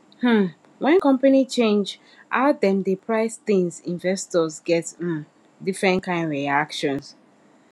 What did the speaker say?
um when company change how dem dey price things investors get um different kind reactions